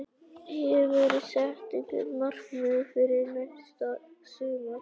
Hefurðu sett einhver markmið fyrir næsta sumar?